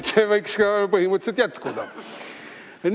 See võiks põhimõtteliselt jätkuda.